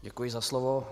Děkuji za slovo.